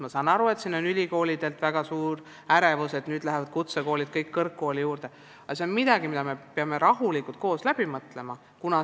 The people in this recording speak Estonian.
Ma saan aru, et ülikoolides on väga suur ärevus, et nüüd tulevad kutsekoolid kõik kõrgkooli juurde, aga see on midagi, mille me peame rahulikult koos läbi mõtlema.